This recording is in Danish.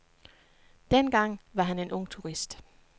Dengang var han en ung turist.